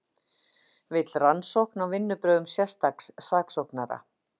Vill rannsókn á vinnubrögðum sérstaks saksóknara